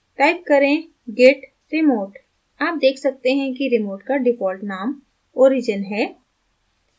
type करें git remote आप देख सकते हैं कि remote का default name origin है